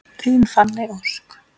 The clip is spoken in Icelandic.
Þín Fanney Ósk.